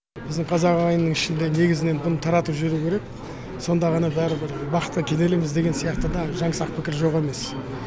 біздің қазақ ағайынның ішінде негізінен бұны таратып жіберу керек сонда ғана бәрібір бақытқа кенеліміз деген сияқты да жаңсақ пікір жоқ емес